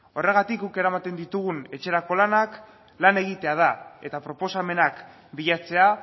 horregatik guk eramaten ditugun etxerako lanak lan egitea da eta proposamenak bilatzea